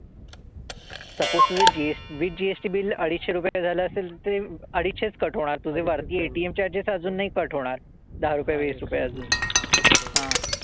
Suppose तुझं GS with GST bill अडीचशे रुपये झालं असेल ते अडीचशेच cut होणार. तुझे वरती ATM charges अजून नाही cut होणार. दहा रुपये, वीस रुपये अजून. हां.